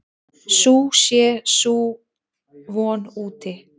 Sú sé sú von úti.